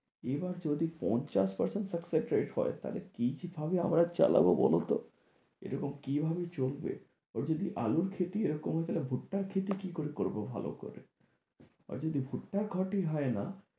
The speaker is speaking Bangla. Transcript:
এবার যদি পঞ্চাশ percent success rate হয় তাহলে কি যে ভাবে আমরা চালাবো বলতো? এরকম কি ভাবে চলবে, ওরা যদি আলুর ক্ষেতি এরকম হয় তাহলে ভূট্টার ক্ষেতি কি করে করবো ভালো করে আর যদি ভুট্টার ক্ষেতি হয় না